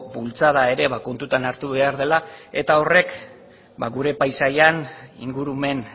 bultzada ere ba kontutan hartu behar dela eta horrek ba gure paisaian ingurumen